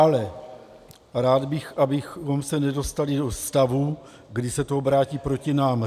Ale rád bych, abychom se nedostali do stavu, kdy se to obrátí proti nám.